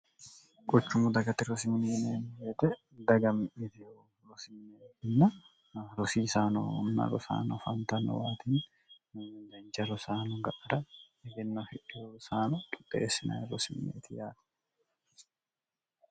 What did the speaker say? qochummu dagate rosiminiyineenni heete dagami'mitio rosimmeetinna n rosiisaano onna rosaano fantannowaatin mdanca rosaano ga'ara hegenn hidhir rosaano xupessinrosmneeti yaati